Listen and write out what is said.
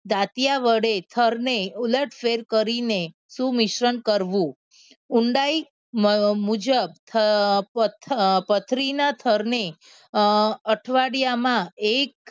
દાંતિયા વડે થરને ઉલટ ફેર કરીને શું મિશ્રણ કરવું ઊંડાઈ મુજબ પથરીના થરને અઠવાડિયામાં